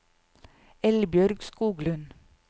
Eldbjørg Skoglund